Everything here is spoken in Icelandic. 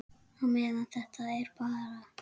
Á meðan þetta er bara.